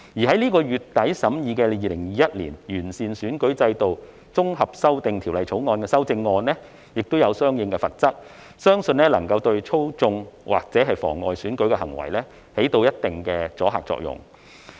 在本月底審議的《2021年完善選舉制度條例草案》也有相關的罰則，相信能夠對操縱或妨礙選舉的行為起一定的阻嚇作用。